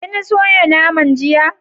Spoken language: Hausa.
Kin soya naman jiya?